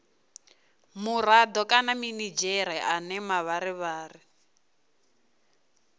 murado kana minidzhere ane mavharivhari